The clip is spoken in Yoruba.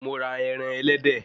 Mo ra ẹran ẹlẹ́dẹ̀